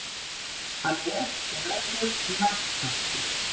Hann er og verður naglfastur.